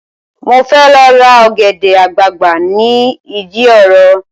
Mo fẹ́ lọ ra ọ̀gẹ̀dẹ̀ àgbagbà ni ìdí òro